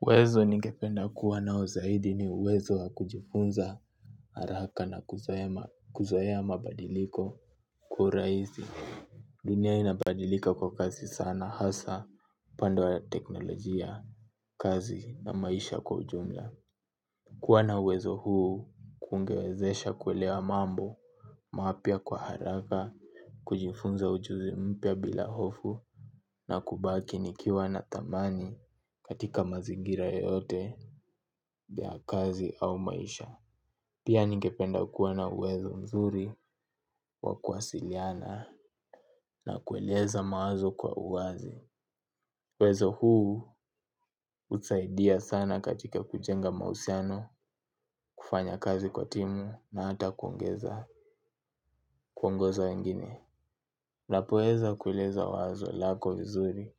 Uwezo nigependa kuwa nao zaidi ni uwezo wa kujifunza haraka na kusema kuzoea badiliko kura hizi. Dunia inabadilika kwa kasi sana hasa upande wa teknolojia kazi na maisha kwa ujumla. Kuwa na uwezo huu kungewezesha kuelewa mambo mapya kwa haraka. Kujifunza ujuzi mpya bila hofu na kubaki nikiwa na dhamani katika mazingira yeyote ya kazi au maisha. Pia ningependa kuwa na uwezo mzuri wa kuwasiliana na kueleza mawazo kwa uwazi. Uwezo huu husaidia sana katika kujenga mahusiano. Kufanya kazi kwa timu na hata kuongeza kuongoza wengine unapo weza kueleza wazo lako vizuri.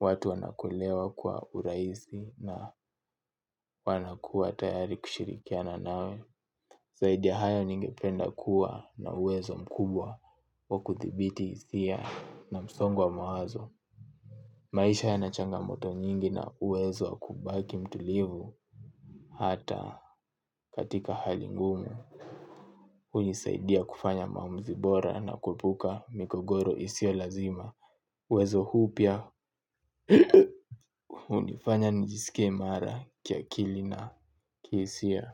Watu wanakulewa kwa uraisi na wanakuwa tayari kushirikiana nawe zaidi hayo ningependa kuwa na uwezo mkubwa wa kudhibiti hisia na msongo wa mawazo. Maisha yana changamoto nyingi na uwezo wa kubaki mtulivu hata katika hali ngumu hunisaidia kufanya maamuzi bora na kuepuka mikogoro isio lazima uwezo huu pia hunifanya nijiskie imara ki akili na ki hisia.